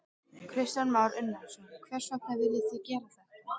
Kristján Már Unnarsson: Hvers vegna viljið þið gera þetta?